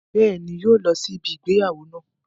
Bẹ́ẹ̀ni, yóò lọ sí ibi ìgbéyàwó náà